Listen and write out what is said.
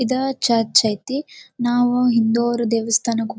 ಇದ ಚರ್ಚ್ ಅಯ್ತಿ ನಾವು ಹಿಂದೋವ್ರ ದೇವಸ್ಥಾನಕ್--